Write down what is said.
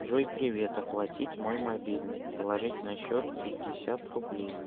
джой привет оплатить мой мобильный положить на счет пятьдесят рублей